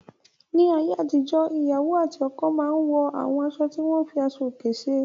Ní ayé àtijọ́, ìyàwó àti ọkọ máa n wọ àwọn aṣọ tí wọ́n fi aṣọ òkè ṣe.